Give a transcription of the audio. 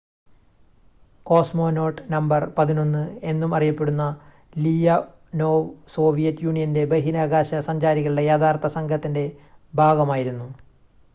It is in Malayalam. """കോസ്മോനോട്ട് നമ്പർ 11" എന്നും അറിയപ്പെടുന്ന ലിയോനോവ് സോവിയറ്റ് യൂണിയന്റെ ബഹിരാകാശ സഞ്ചാരികളുടെ യഥാർത്ഥ സംഘത്തിന്റെ ഭാഗമായിരുന്നു.